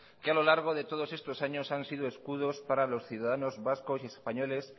que a lo largo de todos estos años han sido escudos para los ciudadanos vascos y españoles